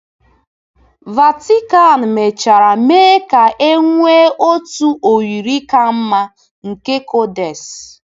Vatican mechara mee ka e nwee otu oyiri ka mma nke codex.